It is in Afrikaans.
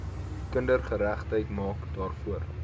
kindergeregtigheid maak daarvoor